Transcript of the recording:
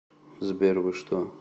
сбер вы что